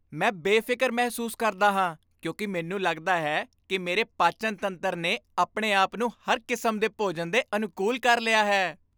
ਮੈਂ ਬੇਫ਼ਿਕਰ ਮਹਿਸੂਸ ਕਰਦਾ ਹਾਂ ਕਿਉਂਕਿ ਮੈਨੂੰ ਲੱਗਦਾ ਹੈ ਕਿ ਮੇਰੇ ਪਾਚਨ ਤੰਤਰ ਨੇ ਆਪਣੇ ਆਪ ਨੂੰ ਹਰ ਕਿਸਮ ਦੇ ਭੋਜਨ ਦੇ ਅਨੁਕੂਲ ਕਰ ਲਿਆ ਹੈ।